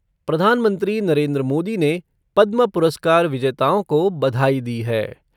प्रधानमंत्री नरेन्द्र मोदी ने पद्म पुरस्कार विजेताओं को बधाई दी है।